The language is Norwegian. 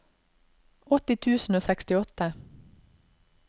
åtti tusen og sekstiåtte